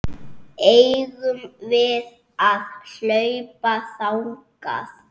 Eigum við að hlaupa þangað?